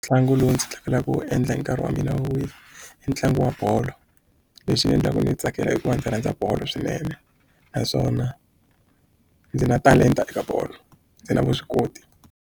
Ntlangu lowu ndzi tsakelaka ku wu endla hi nkarhi wa mina wo wisa i ntlangu wa bolo lexi ni endlaka ku ni yi tsakela i ku va ndzi rhandza bolo swinene naswona ndzi na talenta eka bolo ndzi na vuswikoti.